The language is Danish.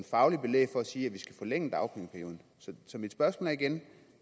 fagligt belæg for at sige at vi skal forlænge dagpengeperioden så mit spørgsmål er igen